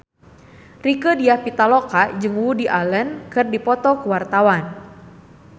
Rieke Diah Pitaloka jeung Woody Allen keur dipoto ku wartawan